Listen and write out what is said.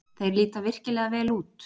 Þeir líta virkilega vel út.